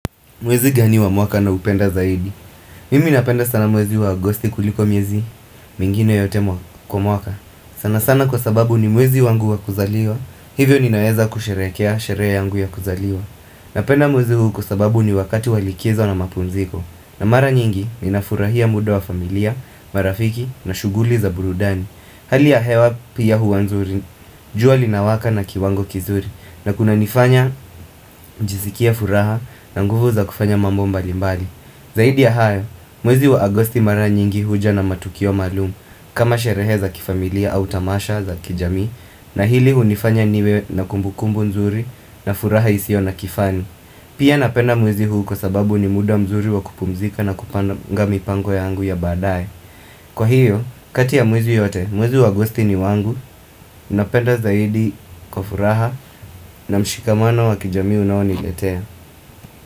Mwezi gani wa mwaka naupenda zaidi. Mimi napenda sana mwezi wa agosti kuliko miezi mingine yote kwa mwaka. Sana sana kwa sababu ni mwezi wangu wa kuzaliwa. Hivyo ninaweza kusherehekea sherehe yangu ya kuzaliwa. Napenda mwezi huu kwa sababu ni wakati walikizo na mapumziko. Na mara nyingi ninafurahia muda wa familia, marafiki na shuguli za burudani. Hali ya hewa pia huwa nzuri, jua linawaka na kiwango kizuri na kunanifanya nijisikie furaha na nguvu za kufanya mambo mbali mbali Zaidi ya hayo, mwezi wa Agosti mara nyingi huja na matukio maalumu kama sherehe za kifamilia au tamasha za kijami na hili hunifanya niwe na kumbukumbu nzuri na furaha isio na kifani Pia napenda mwezi huu kwa sababu ni muda mzuri wa kupumzika na kupanga mipango yangu ya baadaye Kwa hiyo, kati ya miezi yote, mwezi wa Agusti ni wangu, napenda zaidi kwa furaha na mshikamano wa kijamii unaoniletea.